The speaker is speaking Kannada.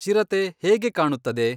ಚಿರತೆ ಹೇಗೆ ಕಾಣುತ್ತದೆ